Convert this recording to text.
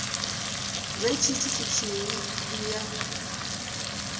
vhe tshithu tshithihi ndi ya